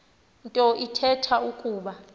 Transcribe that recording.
nto ithetha ukuba